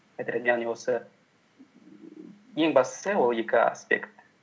яғни осы ең бастысы ол екі аспект